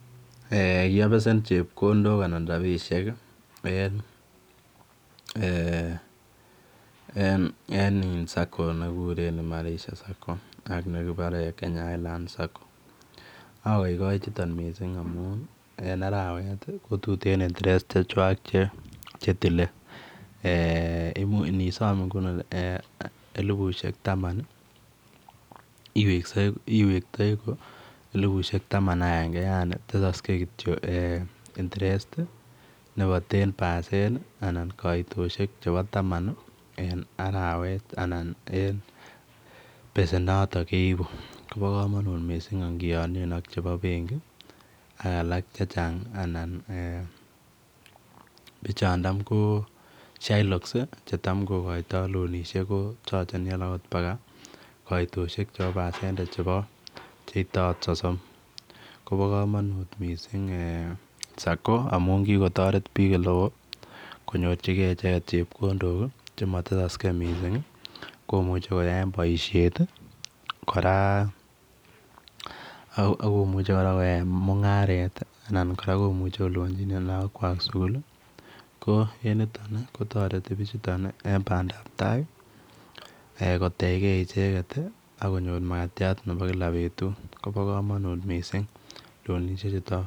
Eeh kiabesen chepkondook anan rapisheek en eeh en in sacco nekikureen [imarisha sacco] ak nekibare [Kenya highlands sacco] akaikai nitoon missing amuun en arawet ko tuteen [interest] che chwaak che tile eeh imuuch inisoom ngini elibushek taman iwektei ko elibushek taman ak angengei yaani tesaksei kityoi eeh [interest] nebo [ten percent] anan kaitoshek nebo taman ii en arawet Anna en besen notoon keibuu koba kamanut missing ingianien ak chebo benkii ak alaak che chaang anan eeh bichoo tam ko shylocks che tam kokoitoi loanishek ko chargeni alaak paka koitosiek chebo [percentage] che ite akoot sosom koba kamanut missing eeh [sacco] amuun kikotaret biik ole wooh konyorjingei ichegeet chepkondook che matesaksei missing komuchei koyaen boisiet kora akomuche kora koyaen mungaret alaak komuchei kolupanjinen lagook kwaak sugul ko en nitoon kotaretii bichutoon eng bandap tai kotegei ichegeet ii ak konyoor makatiat nebo kila betut koba kamanut loanishek chutoon.